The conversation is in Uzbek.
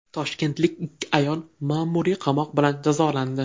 Toshkentlik ikki ayol ma’muriy qamoq bilan jazolandi.